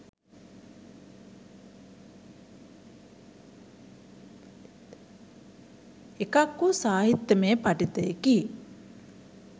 එකක් වූ සාහිත්‍යයමය පඨිතයකි